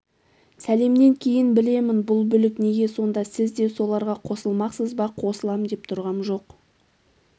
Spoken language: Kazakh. сәлемнен кейін білемін бұл бүлік неге сонда сіз де соларға қосылмақсыз ба қосылам деп тұрғам жоқ